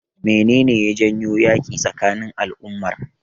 Menene ya janyo yaƙi tsakanin al'ummar?